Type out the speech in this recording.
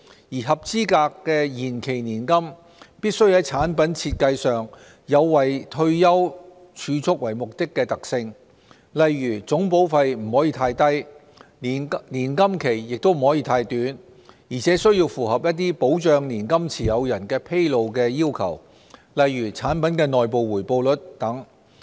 而合資格的延期年金必須在產品設計上有以退休儲蓄為目的的特性，例如總保費不能太低，年金期不可太短，而且須符合一些保障年金持有人的披露要求，例如產品的內部回報率等。